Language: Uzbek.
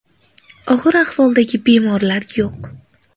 Og‘ir ahvoldagi bemorlar yo‘q.